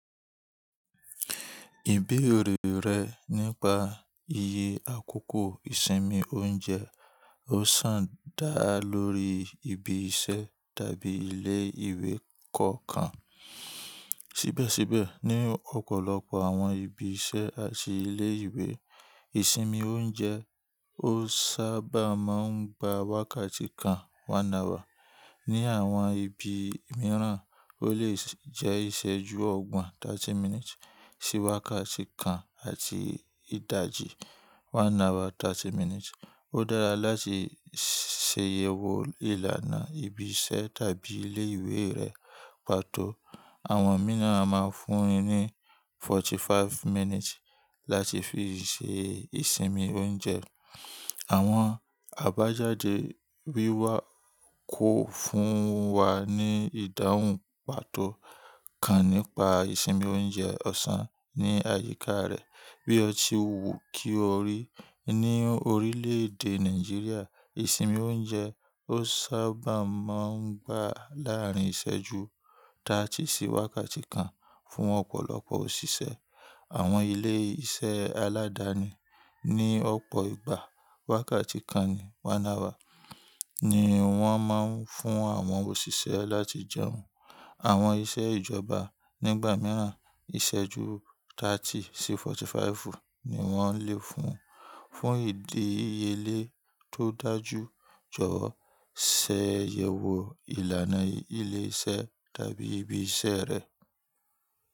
Ìbéèrè rẹ nípa iye àkókò ìsinmi oúnjẹ ó sàn dá lórí ibi iṣẹ́ tàbí ilé ìwé kọ̀ọ̀kan. Síbèsíbè ni òpòlopò àwon ibi isé àti ilé ìwé ìsinmi ojeun o sabà máa gba wákàtí kan 1 hour ní àwon ibi míràn o lè jé ìséjú ogbòn 30 minutes sí wákàtí kan àti ìdajì 1hour 30 minutes. Ó dára láti ṣàyẹ̀wò ìlànà ibi iṣẹ́ tàbí ilé ìwé rẹ pàtó. Àwọn mìí na a máa fún ni 45 mínítì láti fi ṣe ìsinmi oúnjẹ. Àwọn àbájáde wíwá kọ fún wa ní ìdáhùn pàtó kan nípa ìsinmi oúnjẹ ọ̀sán ní àyíká rẹ̀. Bí ọtí wò kí o rí, ní orílẹ̀èdè Nàìjíríà, ìsinmi oúnjẹ ó sábà máa ń gba láàrín ìṣẹ́jú 30 sí wákàtí kan fún ọ̀pọ̀lọpọ̀ òṣìṣẹ́. Àwọn ilé iṣẹ́ aládáni ni ọ̀pọ̀ ìgbà wákàtí kan ni 1 hour ni wọ́n máa ń fún àwọn òṣìṣẹ́ láti jẹun. Àwọn iṣẹ́ ìjọba nígbà mìíràn ìṣẹ́jú 30 sí 45 ni wọ́n lè fún. Fún ìdíyele tó dájú jọ̀wọ́ ṣàyẹ̀wò ìlànà ilé iṣẹ́ tàbí ibi iṣẹ́ rẹ.